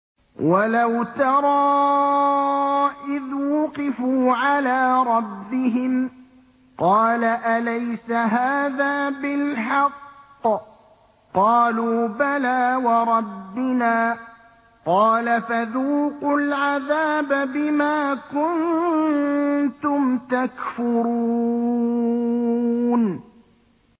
وَلَوْ تَرَىٰ إِذْ وُقِفُوا عَلَىٰ رَبِّهِمْ ۚ قَالَ أَلَيْسَ هَٰذَا بِالْحَقِّ ۚ قَالُوا بَلَىٰ وَرَبِّنَا ۚ قَالَ فَذُوقُوا الْعَذَابَ بِمَا كُنتُمْ تَكْفُرُونَ